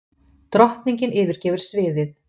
Drottningin yfirgefur sviðið